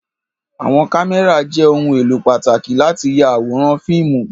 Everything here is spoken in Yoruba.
Àwọn kámẹ́rà jẹ́ ohun-èlò pàtàkì láti ya àwọn fíìmù.